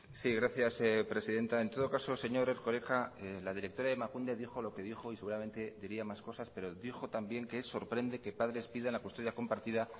sí gracias presidenta en todo caso señor erkoreka la directora de emakunde dijo lo que dijo y seguramente diría más cosas pero dijo también que sorprende que padres pidan la custodia compartida